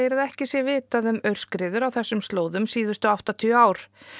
að ekki sé vitað um aurskriður á þessum slóðum síðustu áttatíu ár